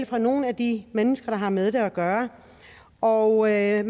fra nogle af de mennesker der har med det at gøre og jeg